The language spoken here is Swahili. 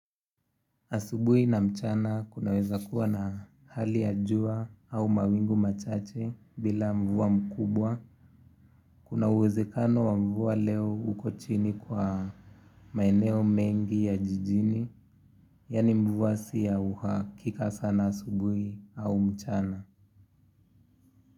Asubuhi na mchana kunaweza kuwa na hali ya jua au mawingu machache bila mvua mkubwa. Kuna uwezekano wa mvua leo uko chini kwa maeneo mengi ya jijini, yaani mvua siya uhakika sana asubui au mchana.